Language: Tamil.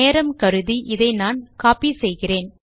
நேரம் கருதி நான் இதை கோப்பி செய்கிறேன்